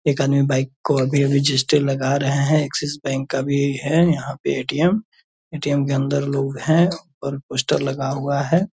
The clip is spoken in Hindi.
एक आदमी बाइक को अभी-अभी लगा रहे हैं एक्सिस बेंक का भी है यहाँ पे ए.टी.एम. ए.टी.एम. के अंदर लोग हैं और पोस्टर लगा हुआ है।